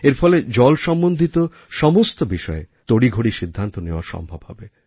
এর ফলে জল সম্বন্ধিত সমস্ত বিষয়ে তড়িঘড়ি সিদ্ধান্ত নেওয়া সম্ভব হবে